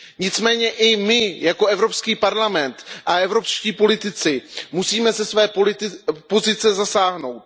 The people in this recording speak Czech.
Nicméně i my jako Evropský parlament a evropští politici musíme ze své pozice zasáhnout.